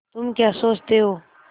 तुम क्या सोचते हो